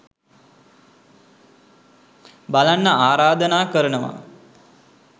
බලන්න ආරධනා කරනවා.